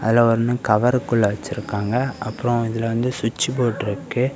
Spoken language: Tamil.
அதுல ஒன்னு கவருக்குள்ள வச்சிருக்காங்க அப்புறம் இதுல வந்து ஸ்விட்ச் போர்டு இருக்கு.